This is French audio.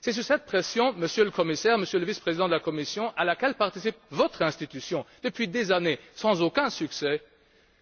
C'est sous cette pression, Monsieur le Commissaire, Monsieur le Vice président de la Commission à laquelle participe votre institution, depuis des années, sans aucun succès